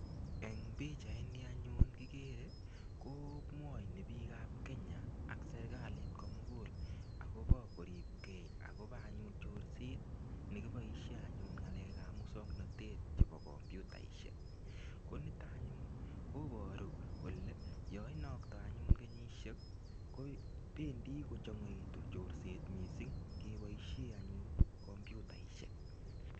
Eng pichaini anyun kikere, komwoini piikab Kenya ak serikalit komugul akobo koripkei akobo anyun chorset ne kiboisie anyun ngalekab musoknotet chebo computaisiek. Ko nito anyun koboru kole yo inokto anyun kenyisiek, ko bendi kochongoitu chorset mising keboisie anyun computaisiek.